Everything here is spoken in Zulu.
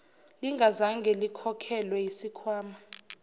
lingazange likhokhelwe yisikhwama